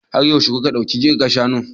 Har yaushe kuka ɗauki kirga shanun?